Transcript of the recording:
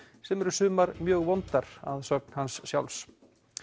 sem eru sumar mjög vondar að sögn hans sjálfs